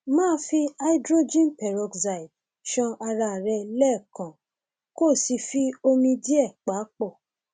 máa fi hydrogenperoxide ṣan ara rẹ lẹẹkan kó o sì fi omi díẹ pa pọ